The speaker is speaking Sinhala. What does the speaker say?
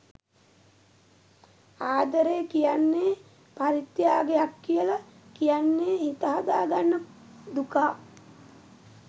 ආදරේ කියන්නේ පරිත්‍යාගයක් කියලා කියන්නේ හිත හදා ගන්න දුකා.